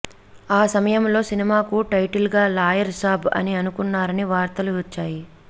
ఆ సమయంలో సినిమాకు టైటిల్ గా లాయర్ సాబ్ అని అనుకున్నారని వార్తలు వచ్చాయి